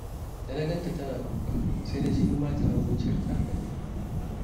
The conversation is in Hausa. Da na ga tana kuka, sai na ji ni ma tawa zuciyar ta karye